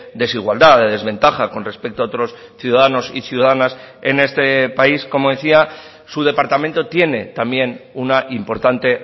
desigualdad de desventaja con respecto a otros ciudadanos y ciudadanas en este país como decía su departamento tiene también una importante